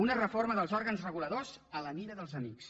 una reforma dels òrgans reguladors a mida dels amics